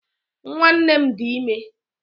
Nwanne m dị ime